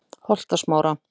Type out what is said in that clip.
Holtasmára